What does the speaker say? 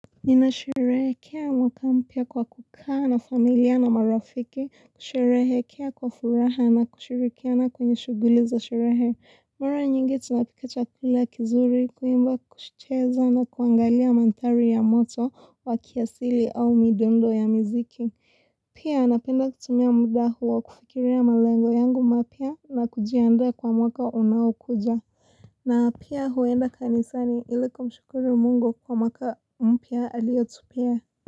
Ninasherehekea mwaka mpya kwa kukaa na familia na marafiki, kusherehekea kwa furaha na kushirikiana kwenye shughuli za sherehe. Mara nyingi tunapika chakula kizuri, kuimba kucheza na kuangalia manthari ya moto wa kiasili au midundo ya miziki. Pia napenda kutumia muda huo kufikiria malengo yangu mapya na kujiandaa kwa mwaka unaokuja. Naa pia huenda kanisani ili kumshukuru Mungu kwa mwaka mpya aliyotupea.